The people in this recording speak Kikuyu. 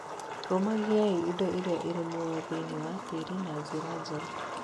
Rũmagiai indo iria irĩ muoyo thĩinĩ wa tĩĩri na njĩra njega.